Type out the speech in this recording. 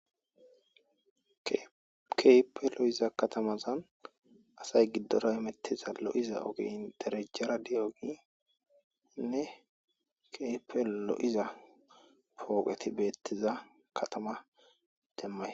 Keype lo'iza katamaza asay giddora emettiza lo'iza ogey derejjara di7ogiinne keype l'iza pooqeti beettiza katama demmay